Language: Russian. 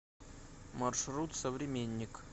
маршрут современник